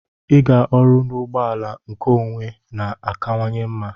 Ịga ọrụ n'ụgbọ ala nkeonwe na-akawanye mma.